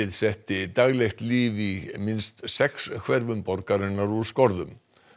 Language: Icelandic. setti daglegt líf í minnst sex hverfum borgarinnar úr skorðum